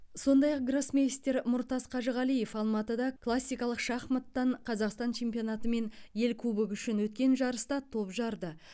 сондай ақ гроссмейстер мұртас қажығалиев алматыда классикалық шахматтан қазақстан чемпионаты мен ел кубогы үшін өткен жарыста топ жарды